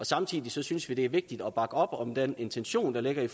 samtidig synes vi det er vigtigt at bakke op om den intention der ligger i